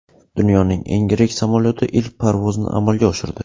Dunyoning eng yirik samolyoti ilk parvozni amalga oshirdi .